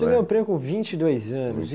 Você ganhou o prêmio com vinte e.dois anos.